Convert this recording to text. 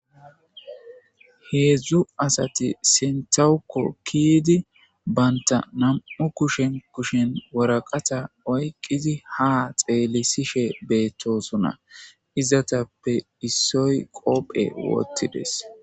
heedzdzu asati sentawukko kidi baynta nam'u kushen kushen woraqata oykqizi ha xeelisishe beettosona izatappe issoy qoophe wottides